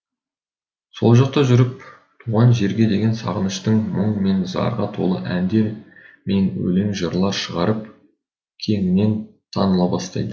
сол жақта жүріп туған жерге деген сағыныштан мұң мен зарға толы әндер мен өлең жырлар шығарып кеңінен таныла бастайды